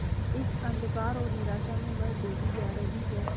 इस अंधकार और निराशा में वह डूबी जा रही है